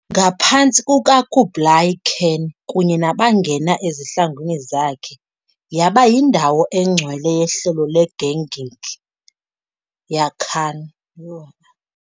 Ngaphantsi kukaKublai Khan kunye nabangena ezihlangwini zakhe, yaba yindawo engcwele yehlelo leGenghis Khan